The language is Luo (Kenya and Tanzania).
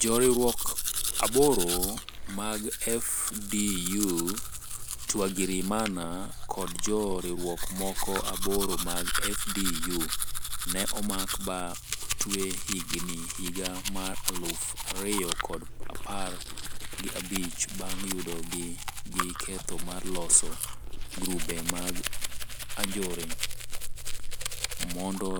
jo riwruok aboro mag FDU Twagirimana kod jo riwruok moko aboro mag FDU.ne omak ba otwe higa mar aluf ariyo kod apar gi abirio bang yudo gi gi ketho mar loso grube mag anjore. mondo